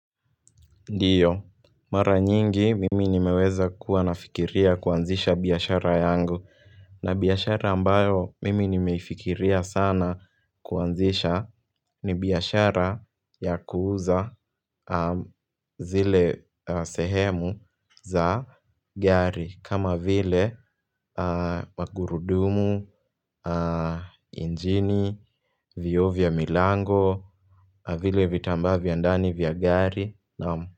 Ndiyo, mara nyingi mimi nimeweza kuwa nafikiria kuanzisha biashara yangu na biashara ambayo mimi nimeifikiria sana kuanzisha ni biashara ya kuuza zile sehemu za gari kama vile magurudumu, injini, vyoo vya milango, vile vitambaa vya ndani vya gari.